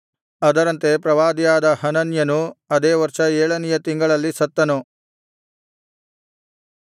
ಅದರಂತೆ ಪ್ರವಾದಿಯಾದ ಹನನ್ಯನು ಅದೇ ವರ್ಷ ಏಳನೆಯ ತಿಂಗಳಲ್ಲಿ ಸತ್ತನು